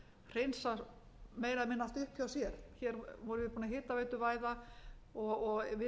hreinsa meira eða minna allt upp hjá sér hér vorum við búin að hitaveituvæða og við erum ekki að